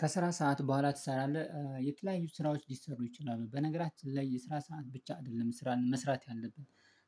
ከስራ ሰዓት በኋላ ትሰራለህ የተለያዩ ስራዎች ሊሰሩ ይችላሉ በነገራችን ላይ የስራ ሰዓት ብቻ አይደለም ስራን መስራት ያለብን።